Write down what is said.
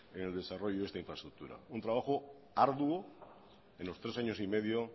en el desarrollo de esta infraestructura un trabajo arduo en los tres años y medio